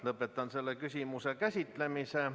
Lõpetan selle küsimuse käsitlemise.